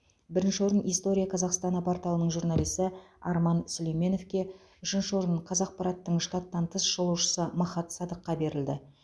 бірінші орын история казахстана порталының журналисі арман сүлейменовке үшінші орын қазақпараттың штаттан тыс шолушысы махат садыққа берілді